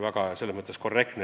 Urmas Kruuse.